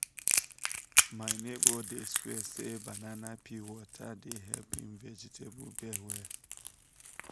my neighbor dey swear say banana peel water dey help him vegetable bed well.